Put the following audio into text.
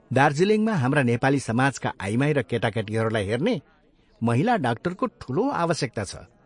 दार्जीलिङमा हाम्रा नेपाली समाजका आइमाई र केटाकेटीहरूलाई हेर्ने महिला डाक्टरको ठूलो आवश्यकता छ।